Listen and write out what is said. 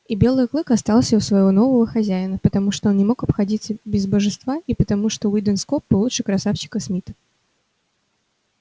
и белый клык остался у своего нового хозяина потому что он не мог обходиться без божества и потому что уидон скоп был лучше красавчика смита